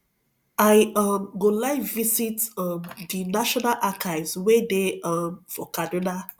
i um go like visit um the national archives wey dey um for kaduna